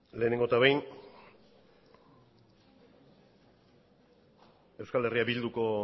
lehenengo eta behin eh bilduko